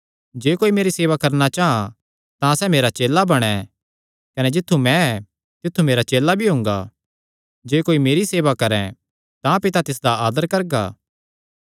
जे कोई मेरी सेवा करणा चां तां सैह़ मेरा चेला बणैं कने जित्थु मैं ऐ तित्थु मेरा चेला भी हुंगा जे कोई मेरी सेवा करैं तां पिता तिसदा आदर करगा